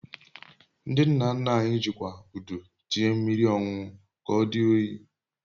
Ndị nna nna anyị jikwa Udu tinye mmiri ọñụnụ ka odi oyi